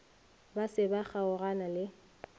ba se ba kgaogana le